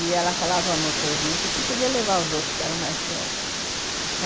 E ela falava a motorista que podia levar os outros que eram mais velhos.